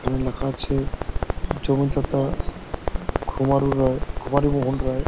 কারণ লেখা আছে জমিদাতা খুমারু রয় খুমারু মোহন রয়।